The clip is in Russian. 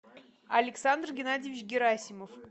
александр геннадьевич герасимов